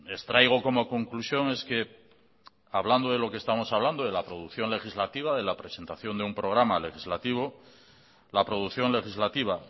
extraigo como conclusión es que hablando de lo que estamos hablando de la producción legislativa de la presentación de un programa legislativo la producción legislativa